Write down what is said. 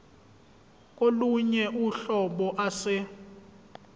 kolunye uhlobo ase